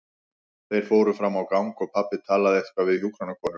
Þeir fóru fram á gang og pabbi talaði eitthvað við hjúkrunarkonu.